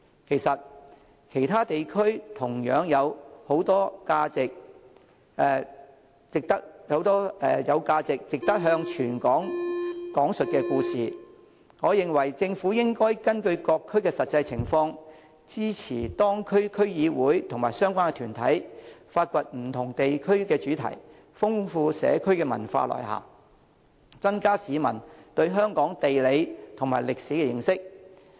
其實，其他地區同樣有很多值得向全港講述的故事，我認為政府應該根據各區實際情況，支持當區區議會及相關團體，發掘不同的地區主題，豐富社區文化內涵，增加市民對香港地理及歷史的認識。